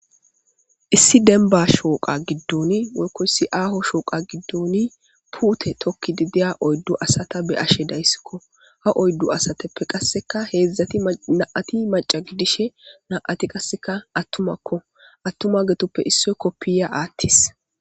Issi denba shooqa giddun woykkoyssi aaho shooqa gidduni puute tokki didiya oyddu asata be ashe dayssikko ha oyddu asateppe qasseka heedzdzati na7ati maca giddishe na'ati qasseka attumakko attuma getoppe issoy koppiya aathtis